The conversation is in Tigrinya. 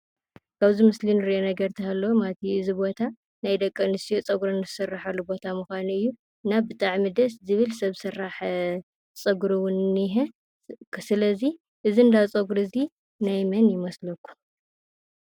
እዚ ምስሊ ንሪኦ ነገር እንተሃለወ ማለት እዩ እዚ ቦታ ናይ ደቂ አንስትዮ ፀጉሪ እንስረሐሉ ቦታ እዩ:: እና ብጣዕሚ ደስ ዝብል ሰብ ስራሕ ፀጉሪ እውን እንሄ:: ስለዚ እዚ እንዳ ፀጉሪ እዚ ናይ መን ይመስለኩም?